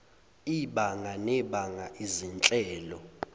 ibanga nebanga izinhlelo